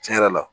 Tiɲɛ yɛrɛ la